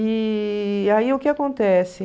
E aí o que acontece?